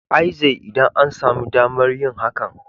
l zai, idan an sami damar yin hakan.